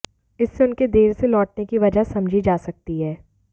इससे उनके देर से लौटने की वजह समझी जा सकती है